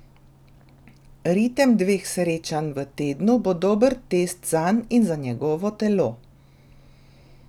Ritem dveh srečanj v tednu bo dober test zanj in za njegovo telo.